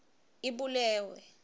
ibulewe